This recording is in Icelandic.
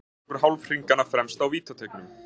Hver er tilgangur hálfhringanna fremst á vítateigunum?